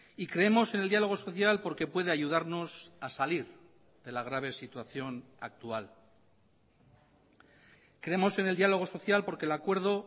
y creemos en el diálogo social porque puede ayudarnos a salir de la grave situación actual creemos en el diálogo social porque el acuerdo